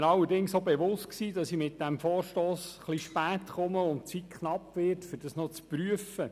Ich war mir allerdings auch bewusst, dass ich mit diesem Vorstoss etwas spät komme und die Zeit knapp wird, um das noch zu prüfen.